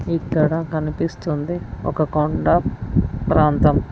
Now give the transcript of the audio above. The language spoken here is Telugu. ఇక్కడ కనిపిస్తుంది ఒక కొండ ప్రాంతం.